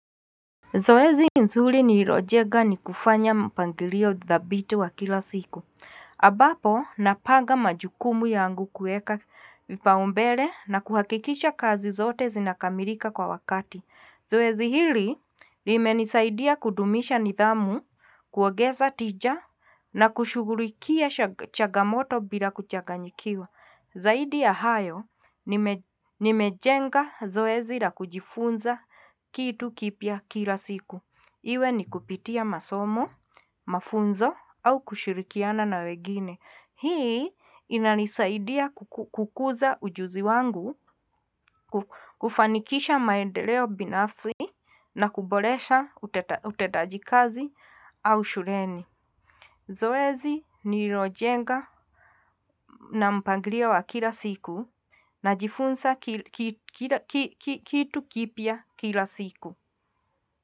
Zoezi nzuri nililojenga ni kufanya mpangilio thabiti wa kila siku. Ambapo napanga majukumu yangu kuweka kipaumbele na kuhakikisha kazi zote zinakamilika kwa wakati. Zoezi hili limenisaidia ya kudumisha nidhamu, kuongeza tija na kushughulikia changamoto bila kuchanganyikiwa. Zaidi ya hayo nimejenga zoezi la kujifunza kitu kipya kila siku. Iwe ni kupitia masomo, mafunzo, au kushirikiana na wengine. Hii inanisaidia kukuza ujuzi wangu kufanikisha maendeleo binafsi na kuboresha utendajikazi au shuleni. Zoezi nilirojenga na mpangilio wa kila siku najifunza kitu kipya kila siku.